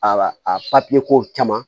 A a kow caman